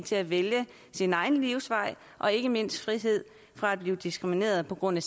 til at vælge sin egen livsvej og ikke mindst frihed fra at blive diskrimineret på grund af